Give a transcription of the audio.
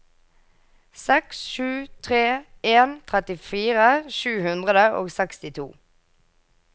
seks sju tre en trettifire sju hundre og sekstito